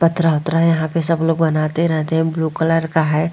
पत्र-वत्र यहाँ पे सब लोग बनाते रहते है ब्लू कलर का है ।